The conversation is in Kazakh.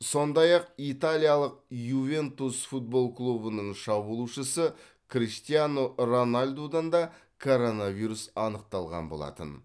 сондай ақ италиялық ювентус футбол клубының шабуылшысы криштиану роналдудан да коронавирус анықталған болатын